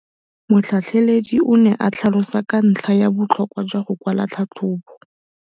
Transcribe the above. Motlhatlheledi o ne a tlhalosa ka ntlha ya botlhokwa jwa go kwala tlhatlhôbô.